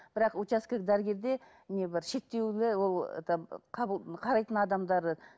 бірақ учаскелік дәрігерде не бар шектеулі ол это қабыл қарайтын адамдары